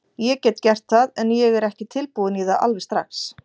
Ég get gert það, en ég er ekki tilbúinn í það alveg strax.